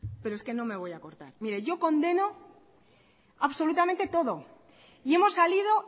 pero es que no me voy a cortar mire yo condeno absolutamente todo y hemos salido